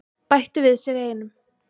Bættu við sig einum.